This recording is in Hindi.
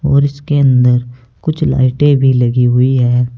और इसके अंदर कुछ लाइटे भी लगी हुई है।